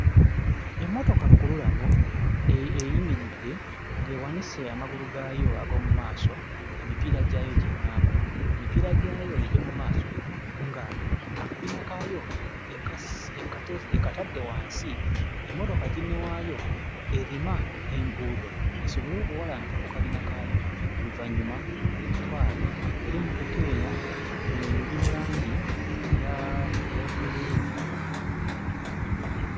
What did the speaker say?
Emmotoka lukululana eyimiridde ng'ewanise amagulu gaayo ag'omu maaso, emipiira gyayo gye ŋŋamba. Emipiira gyayo egy'omu maaso ng'akabina kaayo ekatadde wansi, emmotoka ginne waayo erima enguudo esobole okuwalampa ku kabina kaayo oluvannyuma egitwale, era emmotoka eno eri mu langi eya eya bbululu.